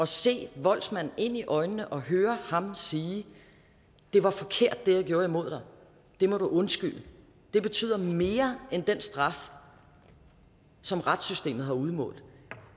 se voldsmanden ind i øjnene og høre ham sige det var forkert hvad jeg gjorde imod dig det må du undskylde det betyder mere end den straf som retssystemet har udmålt